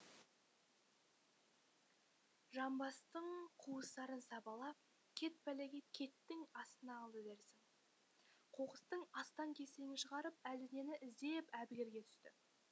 жамбастың қуыстарын сабалап кет пәлекет кеттің астына алды дерсің қоқыстың астаң кестеңін шығарып әлденені іздеп әбігерге түсті